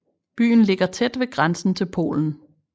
Byen ligger tæt ved grænsen til Polen